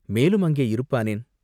மேலும் அங்கே இருப்பானேன்?